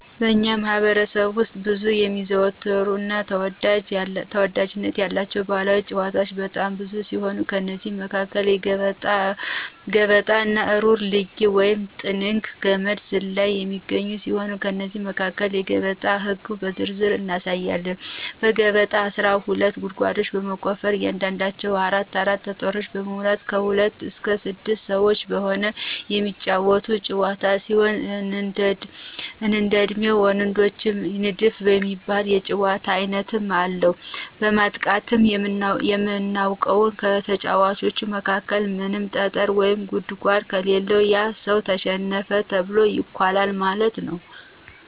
በእኛ ማህበረሰብ ውስጥ በብዛት የሚዘወተሩ እና ተወዳጅነት ያላቸው ባህላዊ ጫወታወች በጣም ብዙ ሲሆኑ ከእነዚህም መካከል ገበጣ፣ እሩር ልጊ(ጥንግ)፣ገመድ ዝላይ የሚገኙ ሲሆን ከእነዚህም መካከል የገበጣን ህግ በዝርዝር እናያለን። ገበጣ አስራ ሁለት ጉርጓዶችን በመቆፈር በእያንዳንዳቸው አራት አራት ጠጠሮችን በመሙላት ከሁለት እስከ ስድስት ሰወች በመሆን የሚጫወቱት ጫወታ ሲሆን እንደላሜ ወለደች፣ ንድፍ የሚባሉ የጫወታ አይነትም አለው፤ ማጥቃታችን የምናውቀው ከተጫዋቾቹ መካከል ምንም ጠጠር ወይም ጉርጓድ ከሌለው ያ ሰው ተሸነፈ ተብሎ ይኳላል ማለት ነው።